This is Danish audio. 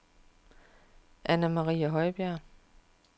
Anna-Marie Højbjerg